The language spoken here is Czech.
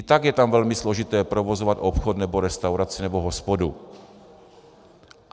I tak je tam velmi složité provozovat obchod nebo restauraci nebo hospodu.